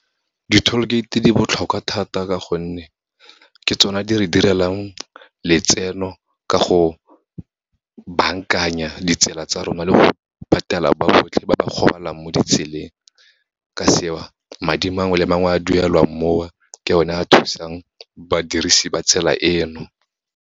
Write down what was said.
Di-toll gate di botlhokwa thata, ka gonne ke tsona di re direlang letseno, ka go bankanya ditsela tsa rona le go patela ba botlhe ba ba golang mo ditseleng. Ka seo, madi mangwe le mangwe a duelwang mo a, ke o ne a thusang badirisi ba tsela eno.